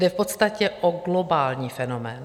Jde v podstatě o globální fenomén.